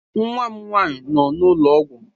Nwa m nwaanyị nọ n'ụlọ ọgwụ.